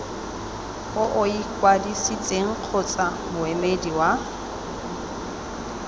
o ikwadisitseng kgotsa moemedi wa